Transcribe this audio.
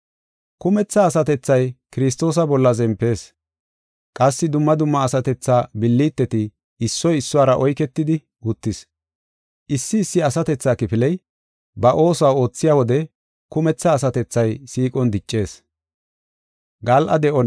Kumetha asatethay Kiristoosa bolla zempees qassi dumma dumma asatethaa billiteti issoy issuwara oyketidi uttis. Issi issi asatethaa kifiley ba oosuwa oothiya wode kumetha asatethay siiqon diccees.